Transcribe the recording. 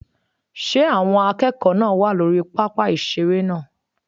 Ṣé àwọn akẹ́kọ̀ọ́ náà wà lórí pápá ìseré náà?